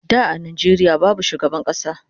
Da a Nijeria babu shugaban kasa